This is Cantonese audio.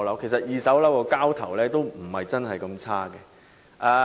其實，二手樓宇的交投量並不是很差。